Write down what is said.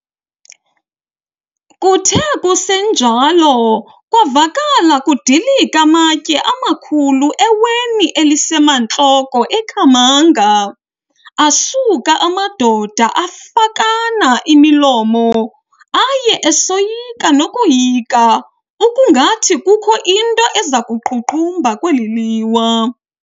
Kuthe kusenjalo kwavakala kudilika amatye amakhulu eweni elisemantloko eKhamanga, asuka amadoda afakana imilomo, aye esoyika nokoyika ukungathi kukho nto iza kuqhuqhumba kweli liwa.